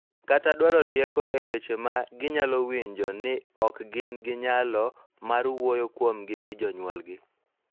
Kata dwaro rieko e wi weche ma ginyalo winjo ni ok gin gi nyalo mar wuoyo kuomgi gi jonyuolgi.